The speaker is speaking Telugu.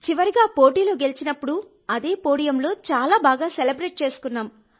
చివరిగా పోటీలో గెలిచినప్పుడు అదే పోడియంలో చాలా బాగా సెలబ్రేట్ చేసుకున్నాం